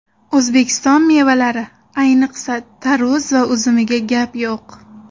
O‘zbekiston mevalari, ayniqsa, tarvuz va uzumiga gap yo‘q!